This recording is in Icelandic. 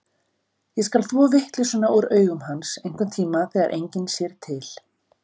Ég skal þvo vitleysuna úr augum hans, einhverntíma þegar enginn sér til.